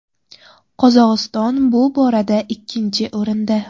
Qozog‘iston bu borada ikkinchi o‘rinda.